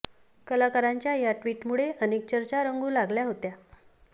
कलाकारांच्या या ट्विट मुळे अनेक चर्चा रंगू लागल्या होत्या